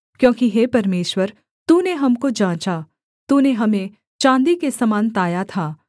क्योंकि हे परमेश्वर तूने हमको जाँचा तूने हमें चाँदी के समान ताया था